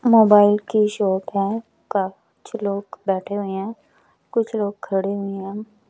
Mobile की shop है काफी कुछ लोग बैठे हुए हैं कुछ लोग खड़े हुए हैं।